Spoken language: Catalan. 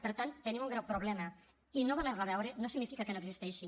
per tant tenim un greu problema i no voler lo veure no significa que no existeixi